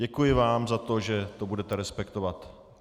Děkuji vám za to, že to budete respektovat.